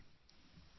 ಮಯೂರ್ ಹಾ ಸರ್